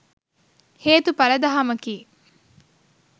හේතුඵල දහමකි.